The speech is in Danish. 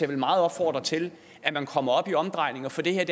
vil meget opfordre til at man kommer op i omdrejninger for det her